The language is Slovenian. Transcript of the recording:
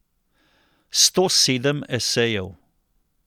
Sto sedem esejev.